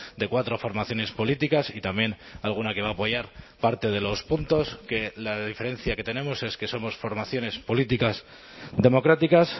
de cuatro formaciones políticas y también alguna que va a apoyar parte de los puntos que la diferencia que tenemos es que somos formaciones políticas democráticas